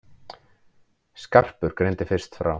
Skarpur greindi fyrst frá.